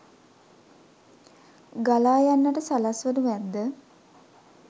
ගලා යන්නට සලස්වනු ඇද්ද?